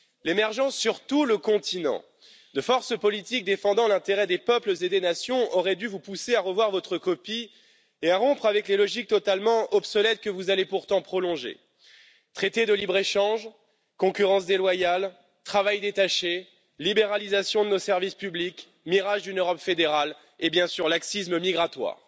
L'émergence, sur tout le continent, de forces politiques défendant l'intérêt des peuples et des nations auraient dû vous pousser à revoir votre copie et à rompre avec les logiques totalement obsolètes que vous allez pourtant prolonger traités de libre échange, concurrence déloyale, travail détaché, libéralisation de nos services publics, mirage d'une Europe fédérale et, bien sûr, laxisme migratoire.